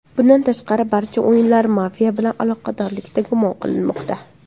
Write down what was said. Bundan tashqari, barcha o‘yinchilar mafiya bilan aloqadorlikda gumon qilinmoqda.